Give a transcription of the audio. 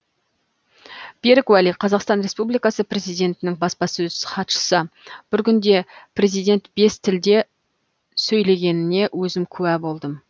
берік уәли қазақстан республикасы президентінің баспасөз хатшысы бір күнде президент бес тілде сөйлегеніне өзім куә болдым